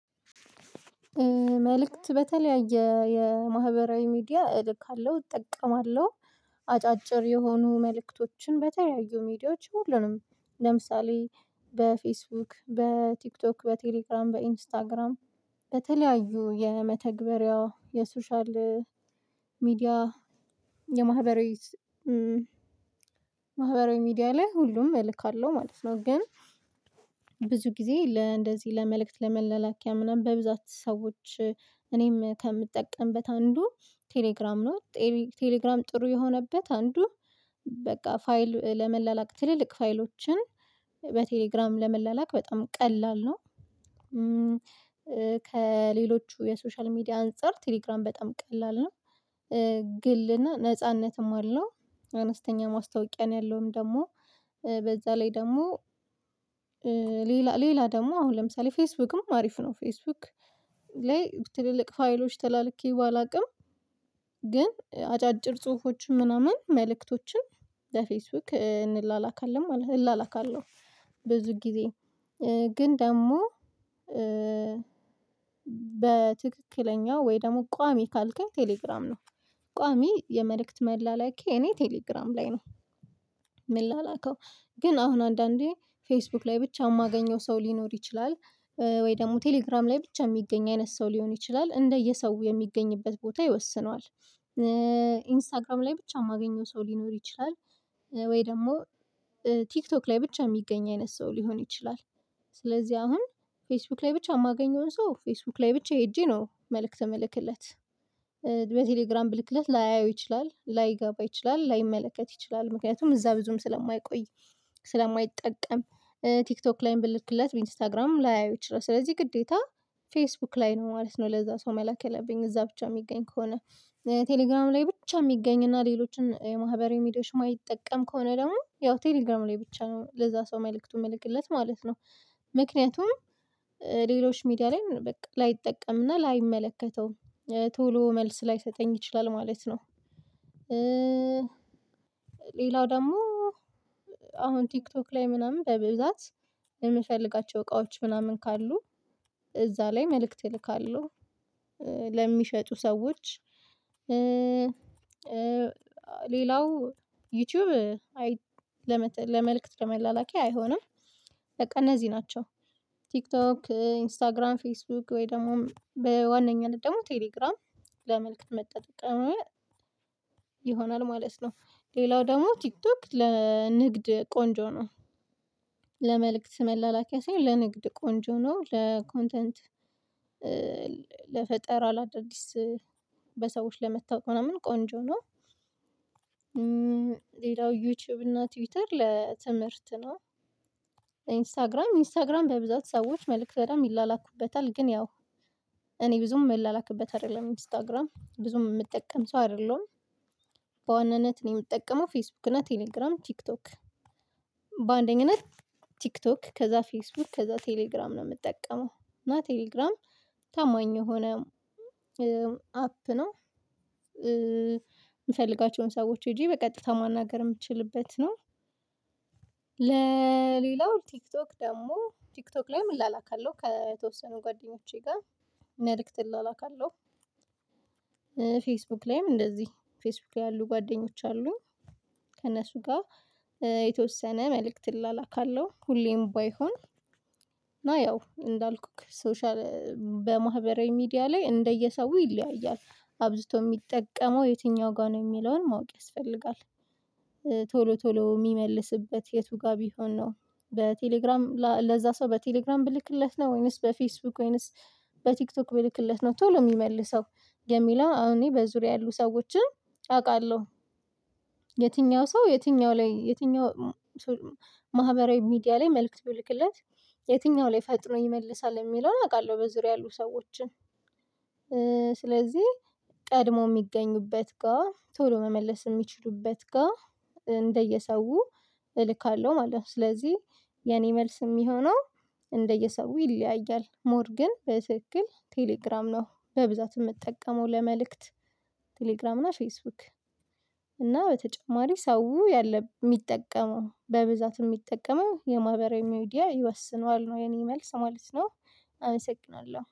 መልእክት በተለያየ የማህበራዊ ሚዲያ እልካለሁ እጠቀማለሁ። አጫጭር የሆኑ መልእክቶችን በተለያዩ ሚዲያዎች ሁሉንም ለምሳሌ በፌስቡክ በቲክቶክ በቴሌግራም በኢንስታግራም በተለያዩ የመተግበሪያ የሶሻል ሚዲያ የማህበራዊ ማህበራዊ ሚዲያ ላይ ሁሉም እልካለሁ ማለት ነው። ግን ብዙ ጊዜ ለእንደዚህ ለመልእክት ለመላላኪያ ምናምን በብዛት ሰዎች እኔም ከምጠቀምበት አንዱ ቴሌግራም ነው ቴሌግራም ጥሩ የሆነበት አንዱ በቃ ፋይል ለመለላክ ትልልቅ ፋይሎችን በቴሌግራም ለመላላክ በጣም ቀላል ነው። ከሌሎቹ የሶሻል ሚዲያ አንፃር ቴሌግራም በጣም ቀላል ነው። ግልና ነጻነትም አለው አነስተኛ ማስታወቂያ ነው ያለውም ደግሞ በዛ ላይ ደግሞ ሌላ ሌላ ደግሞ አሁን ለምሳሌ ፌስቡክም አሪፍ ነው። ፌስቡክ ላይ ትልልቅ ፋይሎች ተላልኬ ባላውቅም ግልና ነጻነትም አለው። አነስተኛ ማስታወቂያ ነው ያለውም ደግሞ በዛ ላይ ደግሞ ሌላ ሌላ ደግሞ አሁን ለምሳሌ ፌስቡክም አሪፍ ነው። ፌስቡክ ላይ ትልልቅ ፋይሎች ተላልኬ ባላውቅም ብዙ ጊዜ ግን ደግሞ በትክክለኛው ወይ ደግሞ ቋሚ ካልከኝ ቴሌግራም ነው። ቋሚ የመልእክት መላላኬዬ እኔ ቴሌግራም ላይ ነው። ምላላከው ግን አሁን አንዳንዴ ፌስቡክ ላይ ብቻ የማገኘው ሰው ሊኖር ይችላል ወይ ደግሞ ቴሌግራም ላይ ብቻ የሚገኝ አይነት ሰው ሊሆን ይችላል እንደየሰው የሚገኝበት ቦታ ይወስነዋል። ኢንስታግራም ላይ ብቻ የማገኘው ሰው ሊኖር ይችላል ወይ ደግሞ ቲክቶክ ላይ ብቻ የሚገኝ አይነት ሰው ሊሆን ይችላል። ስለዚህ አሁን ፌስቡክ ላይ ብቻ የማገኘውን ሰው ፌስቡክ ላይ ብቻ ሄጄ ነው መልእክት ምልክለት። በቴሌግራም ብልክለት ላያየው ይችላል ላይገባ ይችላል ላይመለከት ይችላል ምክንያቱም እዛ ብዙም ስለማይቆይ ስለማይጠቀም ቲክቶክ ላይ ብልክለት በኢንስታግራም ላያየው ይችላል ስለዚህ ግዴታ ፌስቡክ ላይ ነው ማለት ነው። ለዛ ሰው መላክ ያለብኝ እዛ ብቻ የሚገኝ ከሆነ ቴሌግራም ላይ ብቻ የሚገኝ እና ሌሎችን ማህበራዊ ሚዲያዎች ማይጠቀም ከሆነ ደግሞ ያው ቴሌግራም ላይ ብቻ ነው ለዛ ሰው መልእክቱን ምልክለት ማለት ነው። ምክንያቱም ሌሎች ሚዲያ ላይ በቃ ላይጠቀምና ላይመለከተውም ቶሎ መልስ ላይሰጠኝ ይችላል ማለት ነው። ሌላው ደግሞ አሁን ቲክቶክ ላይ ምናምን በብዛት የምፈልጋቸው እቃዎች ምናምን ካሉ እዛ ላይ መልእክት እልካለው። ለሚሸጡ ሰዎች ሌላው ዩቲዩብ ለመልእክት ለመላላኪያ አይሆንም። በቃ እነዚህ ናቸው ቲክቶክ ኢንስታግራም ፌስቡክ ወይ ደግሞ በዋነኛለት ደግሞ ቴሌግራም ለመልእክት መጠቀሚያ ይሆናል ማለት ነው። ሌላው ደግሞ ቲክቶክ ለንግድ ቆንጆ ነው። ለመልእክት መላላኪያ ሳይሆን ለንግድ ቆንጆ ነው ለኮንተንት ለአዳዲስ በሰዎች ለመታወቅ ምናምን ቆንጆ ነው። ሌላው ዩቲዩብ እና ትዊተር ለትምህርት ነው። ኢንስታግራም ኢንስታግራም በብዛት ሰዎች መልእክት በጣም ይላላኩበታል ግን ያው እኔ ብዙም የምላላክበት አይደለም ኢንስታግራም ብዙም የምጠቀም ሰው አይደለሁም። በዋናነት እኔ የምጠቀመው ፌስቡክ እና ቴሌግራም ቲክቶክ በአንደኝነት ቲክቶክ ከዛ ፌስቡክ ከዛ ቴሌግራም ነው የምጠቀመው እና ቴሌግራም ታማኝ የሆነ አፕ ነው። የምፈልጋቸውን ሰዎች ሄጄ በቀጥታ ማናገር የምችልበት ነው። ለሌላው ቲክቶክ ደግሞ ቲክቶክ ላይም እላላካለሁ ከተወሰኑ ጓደኞቼ ጋር መልእክት እላላካለሁ። ፌስቡክ ላይም እንደዚህ ፌስቡክ ያሉ ጓደኞች አሉ። ከእነሱ ጋር የተወሰነ መልእክት እላላካለሁ ሁሌም ባይሆን እና ያው እንዳልኩክ ሶሻል በማህበራዊ ሚዲያ ላይ እንደየሰው ይለያያል አብዝቶ የሚጠቀመው የትኛው ጋር ነው የሚለውን ማወቅ ያስፈልጋል። ቶሎ ቶሎ ሚመልስበት የቱ ጋር ቢሆን ነው? በቴሌግራም ለዛ ሰው በቴሌግራም ብልክለት ነው ወይንስ በፌስቡክ ወይንስ በቲክቶክ ብልክለት ነው ቶሎ የሚመልሰው? የሚለው አሁን እኔ በዙሪያ ያሉ ሰዎችን አውቃለሁ። የትኛው ሰው የትኛው ላይ የትኛው ማህበራዊ ሚዲያ ላይ መልእክት ብልክለት የትኛው ላይ ፈጥኖ ይመልሳል የሚለውን አውቃለሁ። በዙሪያዬ ያሉ ሰዎችን ስለዚህ ቀድሞ የሚገኙበት ጋር ቶሎ መመለስ የሚችሉበት ጋር እንደየሰው እልካለሁ ማለት ነው። ስለዚህ የኔ መልስ የሚሆነው እንደየሰው ይለያያል። ሞር ግን በትክክል ቴሌግራም ነው በብዛት የምጠቀመው ለመልእክት ቴሌግራም እና ፌስቡክ እና በተጨማሪ ሰው ያለ የሚጠቀመው በብዛት የሚጠቀመው የማህበራዊ ሚዲያ ይወስነዋል ነው የኔ መልስ ማለት ነው። አመሰግናለሁ